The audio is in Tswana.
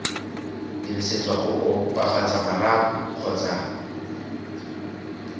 dirisetswa go opafatsa marapo kgotsa